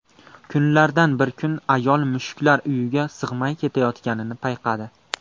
Kunlardan bir kun ayol mushuklar uyiga sig‘may ketayotganini payqadi.